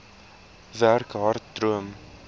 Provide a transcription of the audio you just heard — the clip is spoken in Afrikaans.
werk hard droom